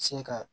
Sin ka